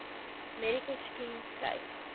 medical scheme skryf